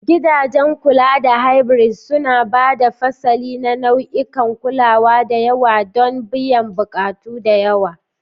Gidajen Kulawa na Hybrid suna haɗa fasali na nau'ikan kulawa da yawa don biyan buƙatu da yawa.